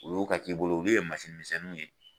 Olu ka k'i bolo ulu ye misɛnninw ye.